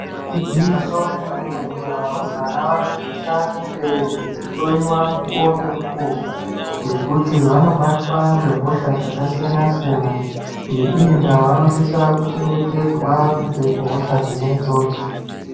Igwinyiso remene-mene, varumbwana vanosisa kunge veihloiwa mukuwo ngemukuwo ngekuti vanobatwa ngezvirwere zvakasiyana-siyana .Ngeiyi ndaa ,vanosisa kuchengetedzwa kubva kuhosha dzakasiyana-siyana dzona idzodzo.